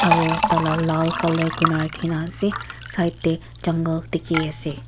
Aro taila lal colour kurna rakhni ase side tey jungle dikhi nah ase.